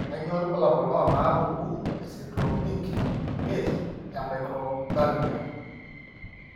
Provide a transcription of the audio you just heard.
Kainyio irbulabul onaapuku esindiromic imiet eMicrophthalmia.